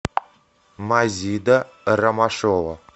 мазида ромашова